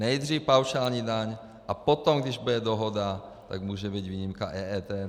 Nejdřív paušální daň a potom, když bude dohoda, tak může být výjimka EET.